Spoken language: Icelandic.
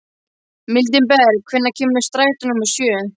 Mildinberg, hvenær kemur strætó númer sjö?